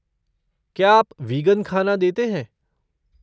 क्या आप वीगन ख़ाना देते हैं?